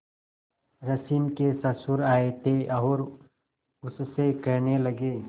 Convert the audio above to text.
रश्मि के ससुर आए थे और उससे कहने लगे